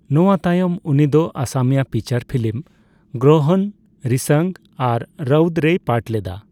ᱱᱚᱣᱟ ᱛᱟᱭᱚᱢ, ᱩᱱᱤ ᱫᱚ ᱚᱥᱚᱢᱤᱭᱟ ᱯᱷᱤᱪᱟᱨ ᱯᱷᱤᱞᱤᱢ ᱜᱨᱚᱦᱚᱚᱱ, ᱨᱤᱥᱟᱝ ᱟᱨ ᱨᱚᱣᱩᱫᱽ ᱨᱮᱭ ᱯᱟᱴ ᱞᱮᱫᱟ ᱾